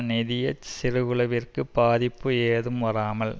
நிதிய சிறுகுழுவிற்கு பாதிப்பு ஏதும் வராமல்